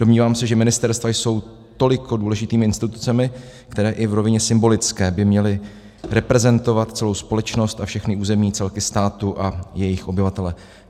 Domnívám se, že ministerstva jsou tolik důležitými institucemi, které i v rovině symbolické by měly reprezentovat celou společnost a všechny územní celky státu a jejich obyvatele.